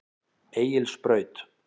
Egilsbraut